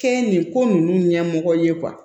Kɛ nin ko ninnu ɲɛmɔgɔ ye